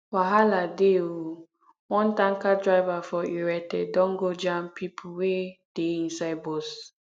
wahala dey o one tanker driver for irete don go jam pipo wey dey inside bus